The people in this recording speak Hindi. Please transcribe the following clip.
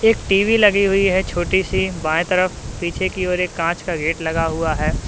टी_वी लगी हुई है छोटी सी बाएं तरफ पीछे की ओर एक कांच का गेट लगा हुआ है।